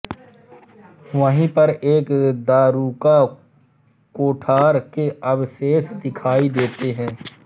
वही पर एक दारूका कोठार के अवशेष दिखाई देते है